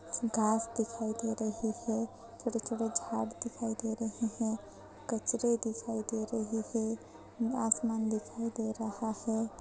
घास दिखाई दे रही है छोटे-छोटे झाड़ दिखाई दे रहे हैं कचरा दिखाई दे रहे हैं आसमान दिखाई दे रहा है।